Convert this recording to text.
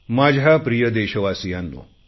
माझ्या प्रिय देशवासियांनो